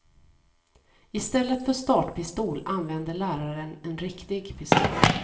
I stället för startpistol använde läraren en riktig pistol.